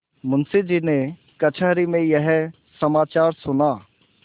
मुंशीजी ने कचहरी में यह समाचार सुना